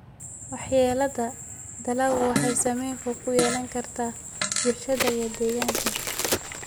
Waxyeellada dalaggu waxay saameyn fog ku yeelan kartaa bulshada iyo deegaanka.